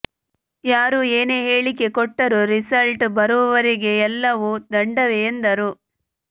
ಯಾರು ಏನೇ ಹೇಳಿಕೆ ಕೊಟ್ಟರೂ ರಿಸಲ್ಟ್ ಬರೋವರೆಗೆ ಎಲ್ಲವೂ ದಂಡವೇ ಎಂದರು